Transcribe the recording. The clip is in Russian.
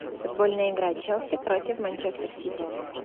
футбольная игра челси против манчестер сити